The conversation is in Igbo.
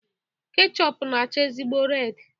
Kechọpu na-acha ezigbo redi